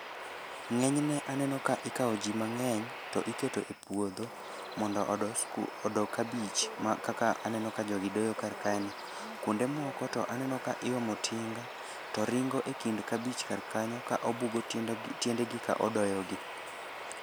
Ng'eny ne aneno ka ikawo ji mang'eny to ikete puodho mondo odo sku odo kabich ma kaka aneno ka jogi doyo kar kae ni. Kuonde moko aneno ka iomo tinga to ringo e kind kabich kar kanyo, ka obugo tiende go tiende gi ka odoyo gi.